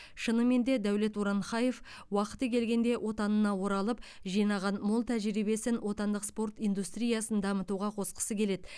шынымен де дәулет уранхаев уақыты келгенде отанына оралып жинаған мол тәжірибесін отандық спорт индустриясын дамытуға қосқысы келеді